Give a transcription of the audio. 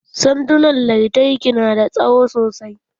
Sandunan lantarki na da tsawo sosai.